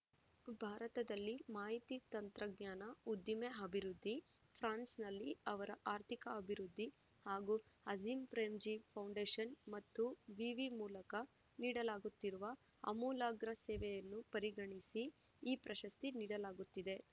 ಭಾರತದಲ್ಲಿ ಮಾಹಿತಿ ತಂತ್ರಜ್ಞಾನ ಉದ್ದಿಮೆ ಅಭಿವೃದ್ಧಿ ಫ್ರಾನ್ಸ್‌ನಲ್ಲಿ ಅವರ ಆರ್ಥಿಕ ಅಭಿವೃದ್ಧಿ ಹಾಗೂ ಅಜೀಂ ಪ್ರೇಮ್‌ಜೀ ಫೌಂಡೇಶನ್‌ ಮತ್ತು ವಿವಿ ಮೂಲಕ ನೀಡಲಾಗುತ್ತಿರುವ ಆಮೂಲಾಗ್ರ ಸೇವೆಯನ್ನು ಪರಿಗಣಿಸಿ ಈ ಪ್ರಶಸ್ತಿ ನೀಡಲಾಗುತ್ತಿದೆ